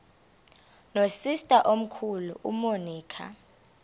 nosister omkhulu umonica